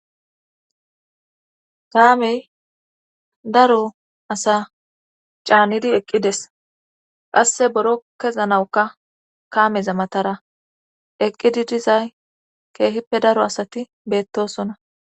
kaamey daro asa caannidi eqqides qasse boro kezanawuka kaameza matara eqqidi dizay keehippe daro asati beettosona